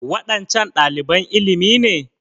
Waɗancan ɗaliban ilimi ne?